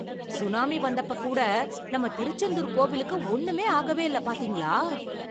Tsunami வந்தப்ப கூட நம்ம திருச்செந்தூர் கோவிலுக்கு ஒண்ணுமே ஆகவே இல்ல பாத்தீங்களா!